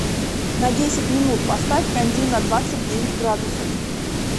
на десять минут поставь кондей на двадцать девять градусов